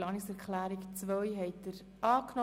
Sie haben diese Planungserklärung abgelehnt.